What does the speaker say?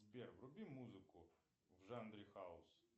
сбер вруби музыку в жанре хаус